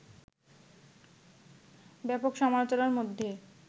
ব্যাপক সমালোচনার মধ্যে